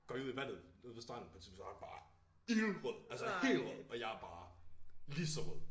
Går vi ud ved vandet ude ved stranden på et tidspunkt så han bare ildrød altså helt rød og jeg er bare lige så rød